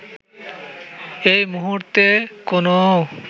এই মুহুর্তে কোনও